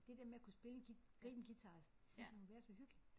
Det der med at kunne spille en gribe en guitar det synes jeg må være så hyggeligt